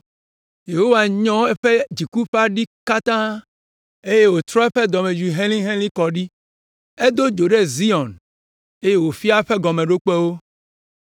Yehowa nyɔ eƒe dziku ƒe aɖi katã eye wòtrɔ eƒe dɔmedzoe helĩhelĩ kɔ ɖi. Edo dzo ɖe Zion eye wòfia eƒe gɔmeɖokpewo.